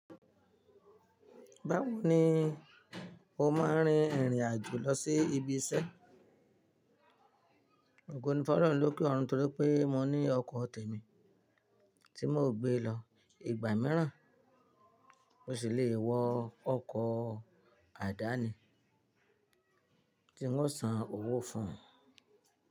Báwo ni o máa rin ìrìn àjò lọ sí ibi iṣẹ́? Ògo ni Fọlọ́run loke ọ̀run torí pé mo ní ọkọ̀ tèmi tí mò gbé lọ ìgbà mìíràn mo sì le wọ ọkọ̀ àdáni tí wo san owó fún ùn.